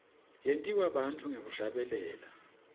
yentiwa bantfu ngekuhlabelela